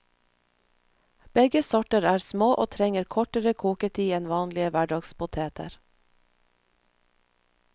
Begge sorter er små og trenger kortere koketid enn vanlige hverdagspoteter.